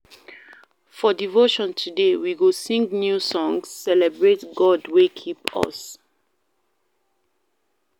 For devotion today, we go sing new praise songs, celebrate God wey keep us.